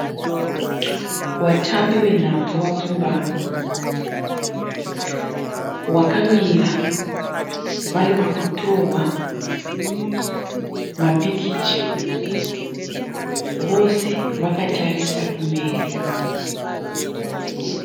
Vatambi venhabvu vapfumbamwe. Vakamira vari pakutorwa mapikicha. Vose vakatarisa kumberi.